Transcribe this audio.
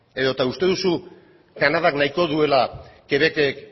edota uste duzu kanadak nahiko duela québecek